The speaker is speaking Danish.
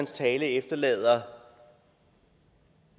tale efterlader